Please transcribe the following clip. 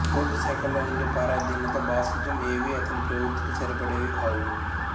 ప్రభుత్వశాఖల్లో ఉండే పరాధీనత బాసిజం ఏవీ అతని ప్రవృత్తికి సరిపడేవి కావు